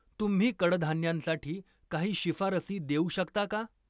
तुम्ही कडधान्यांसाठी काही शिफारसी देऊ शकता का?